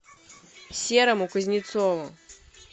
серому кузнецову